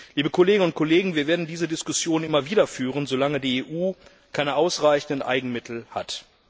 Liebe Kolleginnen und Kollegen, wir werden diese Diskussion immer wieder führen, solange die EU keine ausreichenden Eigenmittel hat.